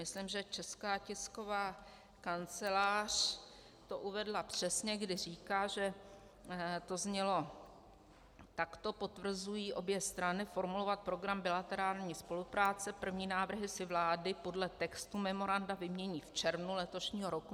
Myslím, že Česká tisková kancelář to uvedla přesně, kdy říká, že to znělo takto: potvrzují obě strany formulovat program bilaterální spolupráce, první návrhy si vlády podle textu memoranda vymění v červnu letošního roku.